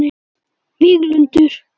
Víglundur